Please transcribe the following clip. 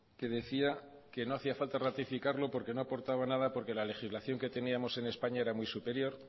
que decía que no hacía falta ratificarlo porque no aportaba nada porque la legislación que teníamos en españa era muy superior